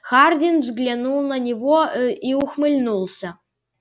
хардин взглянул на него и ухмыльнулся